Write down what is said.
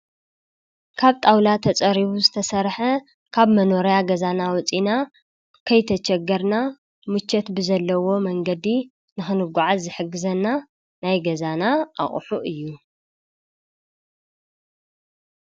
ካብ ጣውላ ተጸሪቡ ዝተሠርሐ ካብ መኖርያ ገዛና ወፂና ከይተጨገርና ሙቾት ብዘለዎ መንገዲ ንኽንጕዓት ዝሕግዘና ናይ ገዛና ኣቕሑ እዩ።